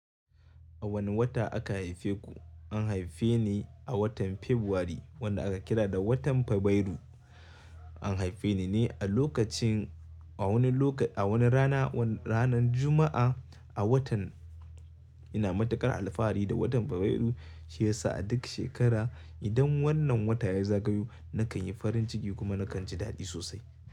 A wani wata, aka haife ku? An haife ni, a watan Fabruary, wanda aka kira da watan Fabairu. An haife ni ne a lokacin, a wani lokaci, a wani rana, ranar Juma'a a watan ina matukar alfahari da watan Fabairu, shi yasa a duk shekara, idan wannan wata yayi zagayo, nakan yi farin ciki kuma nakan ji dadi sosai.